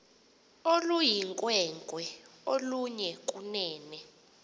oluyinkwenkwe oluhle kunene